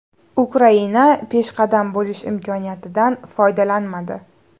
Ukraina peshqadam bo‘lish imkoniyatidan foydalanmadi.